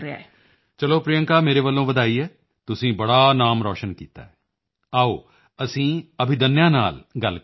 ਚਲੋ ਪ੍ਰਿਯੰਕਾ ਮੇਰੇ ਵੱਲੋਂ ਵਧਾਈ ਹੈ ਤੁਸੀਂ ਬੜਾ ਨਾਮ ਰੋਸ਼ਨ ਕੀਤਾ ਹੈ ਆਓ ਅਸੀਂ ਅਭਿਦੰਨਯਾ ਨਾਲ ਗੱਲ ਕਰਦੇ ਹਾਂ